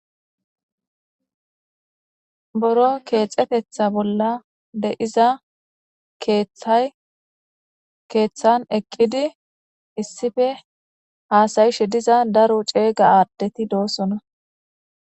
Buro kexetetha bola de'iza kethay kethan eqidi issipe hasa'ishe diza daro c'ega adeti de'osona.